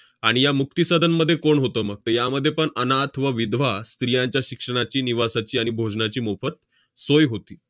आणि या मुक्ती सदनमध्ये कोण होतं मग? तर यामध्ये पण अनाथ व विधवा स्त्रियांच्या शिक्षणाची, निवासाची आणि भोजनाची मोफत सोय होती.